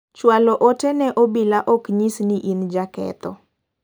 Chwalo ote ne obila ok nyis ni in jaketho.